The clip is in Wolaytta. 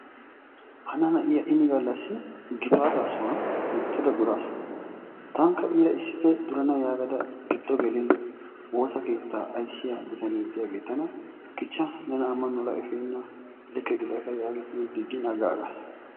Hana na'iya ini gallassi gifaata sohuwaan loyttada duraasu. Taanikka iira issippe durana yaagada giddo geliin woosa keettaa ayssiya bittanee diyagee tana kichcha ne amanuwara efeena likke gidakka yaagidi tana digiin agaagas.